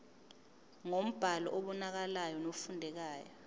ngombhalo obonakalayo nofundekayo